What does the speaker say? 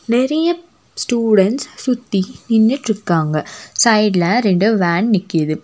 நெறைய ஸ்டூடண்ட்ஸ் சுத்தி நின்னுட்டிருக்காங்க சைட்ல ரெண்டு வேன் நிக்குது.